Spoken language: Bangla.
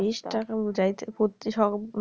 বেশ টাকা বুঝাইতেছে